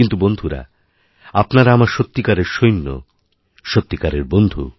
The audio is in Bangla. কিন্তুবন্ধুরা আপনারা আমার সত্যিকারের সৈন্য সত্যিকারের বন্ধু